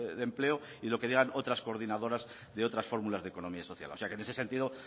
de empleo y de lo digan otras coordinadoras de otras fórmulas de economía social o sea que en ese sentido